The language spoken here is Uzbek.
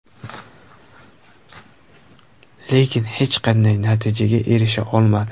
Lekin hech qanday natijaga erisha olmadi.